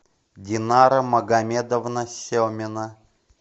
динара магомедовна семина